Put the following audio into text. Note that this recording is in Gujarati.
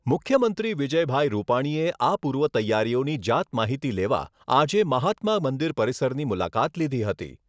મુખ્યમંત્રી વિજયભાઈ રૂપાણીએ આ પૂર્વ તૈયારીઓની જાતમાહિતી લેવા આજે મહાત્મા મંદિર પરિસરની મુલાકાત લીધી હતી.